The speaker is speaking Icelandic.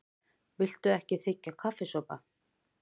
Viltu ekki þiggja kaffisopa?